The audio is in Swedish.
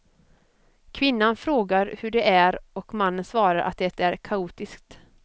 Kvinnan frågar hur det är och mannen svarar att det är kaotiskt.